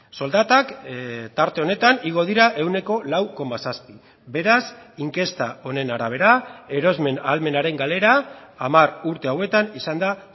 soldatak tarte honetan igo dira ehuneko lau koma zazpi beraz inkesta honen arabera erosmen ahalmenaren galera hamar urte hauetan izan da